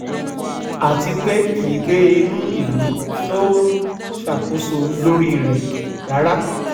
àti pé kì í gbé inú ìlú tó ń ṣàkóso lórí rẹ̀ rárá